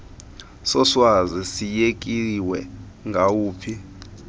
soswazi siyekiwe ngawaphi